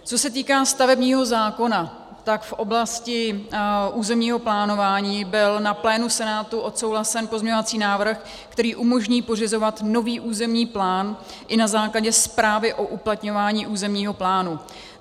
Co se týká stavebního zákona, tak v oblasti územního plánování byl na plénu Senátu odsouhlasen pozměňovací návrh, který umožní pořizovat nový územní plán i na základě zprávy o uplatňování územního plánu.